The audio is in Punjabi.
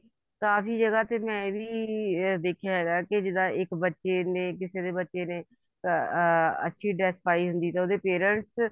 ਕਾਫੀ ਜਗ੍ਹਾ ਤੇ ਮੈਂ ਇਹ ਵੀ ਦੇਖਿਆ ਹੈਗਾ ਕੇ ਇੱਕ ਬੱਚੇ ਨੇ ਕਿਸੇ ਬੱਚੇ ਨੇ ਅਹ ਅੱਛੀ dress ਪਾਈ ਹੁੰਦੀ ਤਾਂ ਉਹਦੇ parents